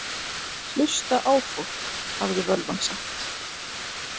Hlusta á fólk, hafði völvan sagt.